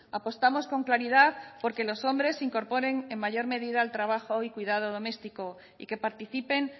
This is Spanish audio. apostamos con claridad por que los hombres se incorporen en mayor medida al trabajo y cuidado doméstico y que participen